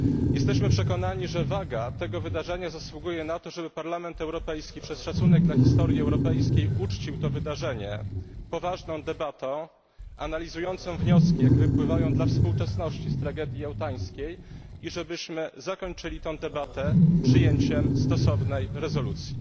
Jesteśmy przekonani, że waga tego wydarzenia zasługuje na to, żeby Parlament Europejski przez szacunek dla historii europejskiej uczcił to wydarzenie poważną debatą analizującą wnioski, jakie wypływają dla współczesności z tragedii jałtańskiej i żebyśmy zakończyli tę debatę przyjęciem stosownej rezolucji.